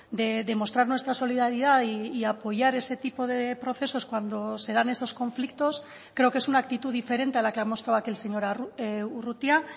de demostrar nuestra solidaridad y apoyar ese tipo de procesos cuando se dan esos conflictos creo que es una actitud diferente a la que ha mostrado aquí el señor urrutia